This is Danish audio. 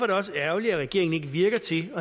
det også ærgerligt at regeringen ikke virker til